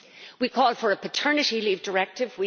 We call for a paternity leave directive